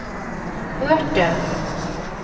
hørte